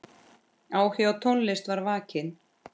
Áhugi á tónlist var vakinn.